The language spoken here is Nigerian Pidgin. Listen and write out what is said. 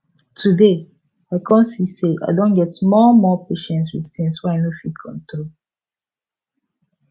today i come see say i don get more more patience with things wey i no fit control